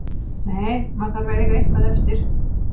Nei, maður þarf að eiga eitthvað eftir.